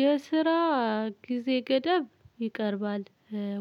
የስራ ጊዜ ገደብ ይቀርባል